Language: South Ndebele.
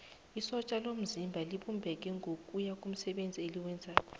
isotja lomzimba libumbeke ngokuya komsebenzi eliwenzako